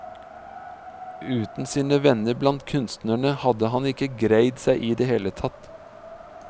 Uten sine venner blant kunstnerne hadde han ikke greid seg i det hele tatt.